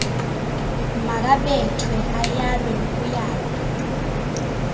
makabethwe ayalwe nokuyalwa